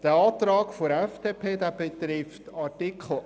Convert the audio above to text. Der Antrag der FDP betrifft Artikel 8